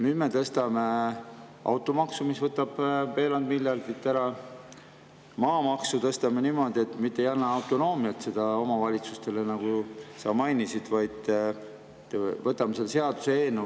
Nüüd me kehtestame automaksu, mis võtab veerand miljardit ära, maamaksu tõstame niimoodi, et mitte ei anna autonoomiat omavalitsustele, nagu sa mainisid, vaid võtame autonoomia omavalitsustelt hoopis ära.